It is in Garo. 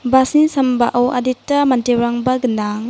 bus-ni sambao adita manderangba gnang.